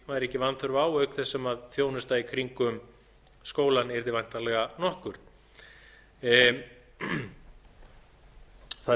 væri ekki vanþörf á auk þess sem þjónusta í kringum skólann yrði væntanlega nokkur það